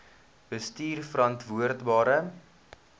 bestuurverantwoordbare